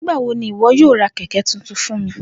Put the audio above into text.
Nigbawo ni iwọ yoo ra kẹkẹ tuntun fun mi?